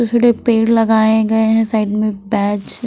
छोटे पेड़ लगाए गए हैं साइड में बैच --